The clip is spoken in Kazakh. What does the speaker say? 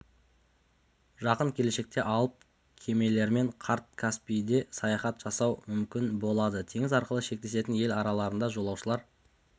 жақын келешекте алып кемелермен қарт каспийде саяхат жасау мүмкін болады теңіз арқылы шектесетін ел арасында жолаушылар